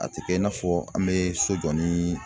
A tɛ kɛ i n'a fɔ an bɛ so jɔ ni